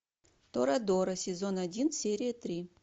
торадора сезон один серия три